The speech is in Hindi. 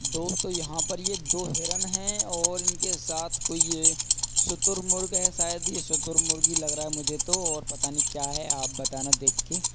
दोस्तो यहाँ पर ये दो हिरण हैं और इनके साथ कोई ये शुतुरमुर्ग है| शायद ये शुतूरमुर्ग ही लग रहा है मुझे तो और पता नही क्या है आप बताना देख के |